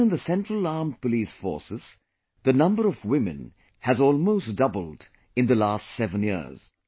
Even in the Central Armed Police Forces, the number of women has almost doubled in the last seven years